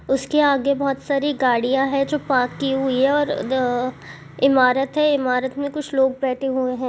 -- उसके आगे बहुत सारी गाड़ियां है जो पार्क की हुई है और इमारत है और इमारत में कुछ लोग बैठे हुए हैं।